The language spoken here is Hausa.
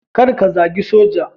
Kar ka zagi Soja.